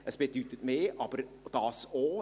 Es bedeutet mehr, aber auch dies.